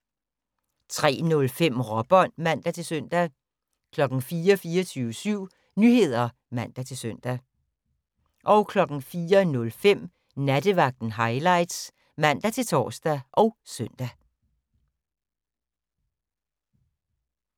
03:05: Råbånd (man-søn) 04:00: 24syv Nyheder (man-søn) 04:05: Nattevagten Highlights (man-tor og søn)